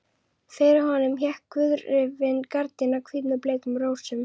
Fyrir honum hékk gauðrifin gardína, hvít með bleikum rósum.